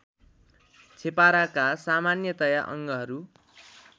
छेपाराका सामान्यतया अङ्गहरू